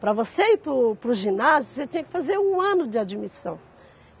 Para você ir para para o ginásio, você tinha que fazer um ano de admissão.